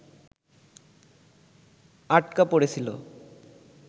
আটকা পড়েছিল